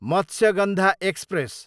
Matsyagandha express